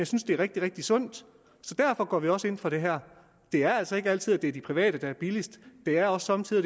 synes det er rigtig rigtig sundt så derfor går vi også ind for det her det er altså ikke altid at det er de private der er billigst det er også somme tider